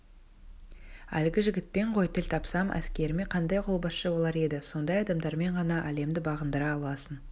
әлгі жігітпен ғой тіл тапсам әскеріме қандай қолбасшы болар еді сондай адамдармен ғана әлемді бағындыра аласың